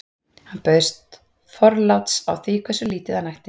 hann baðst forláts á því hversu lítið hann ætti